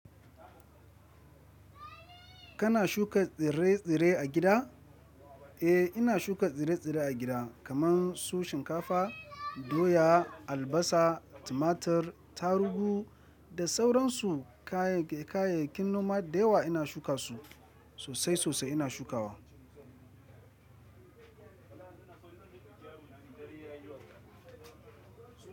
Kana shuka tsire-tsire a gida? Eh, ina shuka tsire-tsire a gida kamar su shinkafa, doya, albasa, tumatur, taruhu da sauran su kayayyakin noma da yawa ina shuka su sosai sosai ina shukawa.